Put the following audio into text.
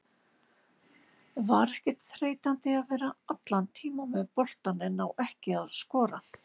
Var ekkert þreytandi að vera allan tímann með boltann en ná ekki að skora?